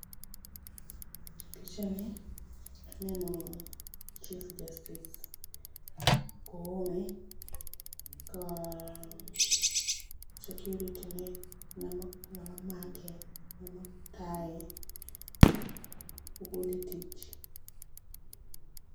Picha ni, aneno, Chief Justice Koome, ka security ne, ng'ama make, ng'ama tae, ogol e tich.